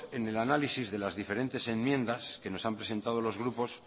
en el análisis de las diferentes enmiendas que nos han presentado los grupos